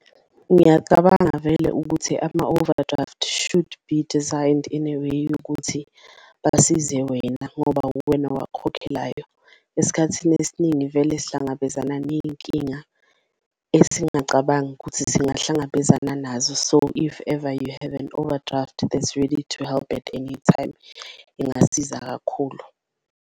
Ngiyacabanga vele ukuthi ama-overdraft should be designed in a way yokuthi basize wena ngoba uwena owakhokhelayo, esikhathini esiningi vele sihlangabezana neyinkinga esingacabangi ukuthi singahlangabezana nazo. So if ever you have an overdraft that's ready to help at any time, ingasiza kakhulu.